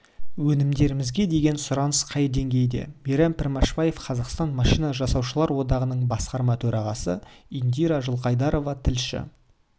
өнімдерімізге деген сұраныс қай деңгейде мейрам пішембаев қазақстан машина жасаушылар одағының басқарма төрағасы индира жылқайдарова тілші